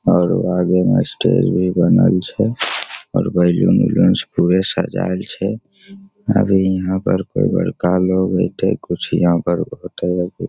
और आगी में स्टेज भी बनल छै और बालों उलून से पूरा सजायल छै अभी यहाँ पर कोई बड़का लोग आयते कुछ यहाँ पर होएते।